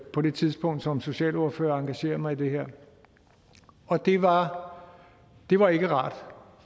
på det tidspunkt som socialordfører at engagere mig i det her og det var det var ikke rart